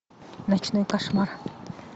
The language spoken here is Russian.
ночной кошмар